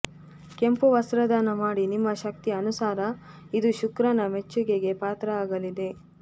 ಕೆಂಪು ವಸ್ತ್ರ ದಾನ ಮಾಡಿ ನಿಮ್ಮ ಶಕ್ತಿ ಅನುಸಾರ ಇದು ಶುಕ್ರನ ಮೆಚ್ಚುಗೆಗೆ ಪಾತ್ರ ಆಗಲಿದೆ